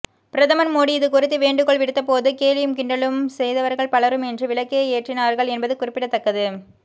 பிரதமர் மோடி இதுகுறித்து வேண்டுகோள் விடுத்தபோது கேலியும் கிண்டலும் செய்தவர்கள் பலரும் இன்று விளக்கே ஏற்றினார்கள் என்பது குறிப்பிடத்தக்கது